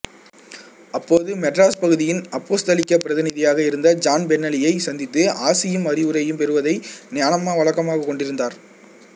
அப்போது மெட்ராஸ் பகுதியின் அப்போஸ்தலிக்க பிரதிநிதியாக இருந்த ஜான் பென்னலியை சந்தித்து ஆசியும் அறிவுரையும் பெறுவதை ஞானம்மா வழக்கமாக கொண்டிருந்தார்